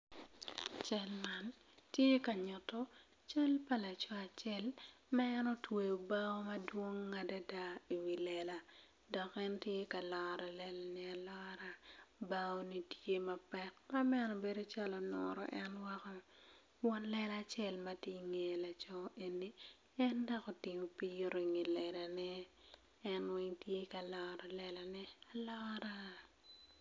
Cal man tye ka nyuto cal pa laco acel ma en otweyo bao madwong adada i wi lela dok en tye ka loro lelani alora baoni tye mapek mabedo calo onuro en woko kun won lela acel ma tye ka ngiyo laco eni en dok otingo pii i wi lelane en weng tye ka loto lelane alora.